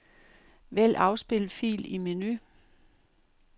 Vælg afspil fil i menu.